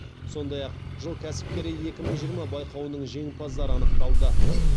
сондай ақ жыл кәсіпкері екі мың жиырма байқауының жеңімпаздары анықталды